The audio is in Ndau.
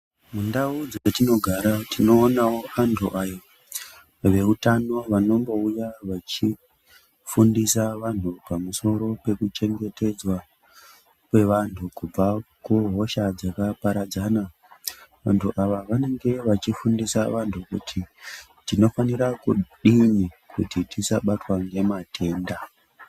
Mundau dzatinogara tinoonawo antu aya veutano vanombouya vachifundisa vantu pamusoro pekuchengetedzwa kwevantu kubva kuhosha dzakaparadzana. Vantu ava vanenge vachifundisa vantu kuti tinofanira kudini kuti tisabatwa ngematenda.